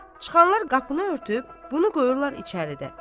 Amma çıxanlar qapını örtüb, bunu qoyurlar içəridə.